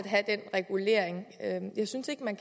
have den regulering jeg synes ikke man